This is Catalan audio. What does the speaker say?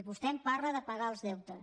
em parla de pagar els deutes